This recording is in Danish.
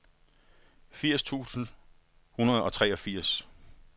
firs tusind syv hundrede og treogfirs